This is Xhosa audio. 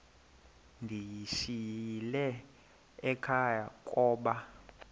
ndiyishiyile ekhaya koba